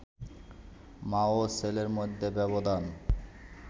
মা ও ছেলের মধ্যে ব্যবধান